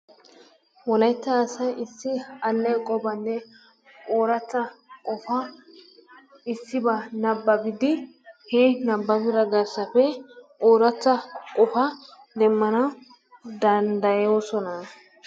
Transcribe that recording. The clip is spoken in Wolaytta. Wolaytta asay issi alleeqobanne ooratta qofaa issibaa nabbabidi he nabbabidobaa garssappe ooratta qofaa demmanawu danddayosona.